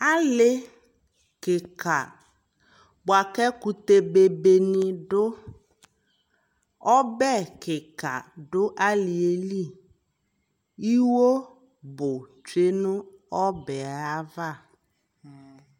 ali kikaa bʋa kʋ ɛkʋtɛ bɛbɛ bɛni nidʋ, ɔbɛ kikaa dʋ aliɛ li, iwɔ bʋ twɛ nʋ ɔbɛ aɣa